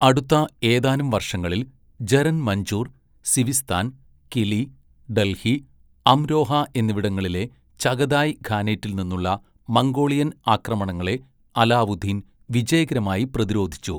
അടുത്ത ഏതാനും വർഷങ്ങളിൽ, ജരൻ മഞ്ജൂർ, സിവിസ്ഥാൻ, കിലി, ഡൽഹി, അംരോഹ എന്നിവിടങ്ങളിലെ ചഗതായ് ഖാനേറ്റിൽ നിന്നുള്ള മംഗോളിയൻ ആക്രമണങ്ങളെ അലാവുദ്ദീൻ വിജയകരമായി പ്രതിരോധിച്ചു.